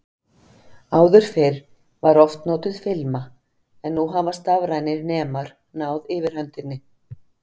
Áður fyrr var oft notuð filma, en nú hafa stafrænir nemar náð yfirhöndinni.